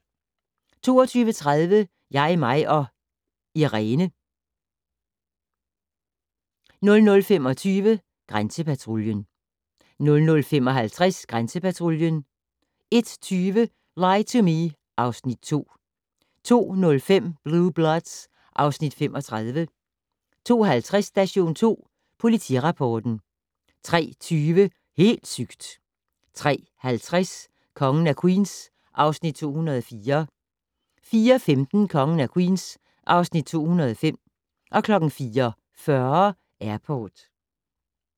22:30: Jeg, mig & Irene 00:25: Grænsepatruljen 00:55: Grænsepatruljen 01:20: Lie to Me (Afs. 2) 02:05: Blue Bloods (Afs. 35) 02:50: Station 2 Politirapporten 03:20: Helt sygt! 03:50: Kongen af Queens (Afs. 204) 04:15: Kongen af Queens (Afs. 205) 04:40: Airport